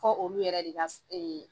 Ko olu yɛrɛ de ka